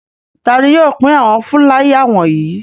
Ta ni yóò pín àwọn fúláyà wọ̀nyí?